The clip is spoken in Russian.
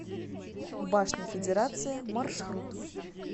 башня федерация маршрут